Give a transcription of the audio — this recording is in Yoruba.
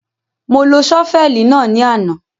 Mo lo ṣọ́fẹ̀lì náà ní àná.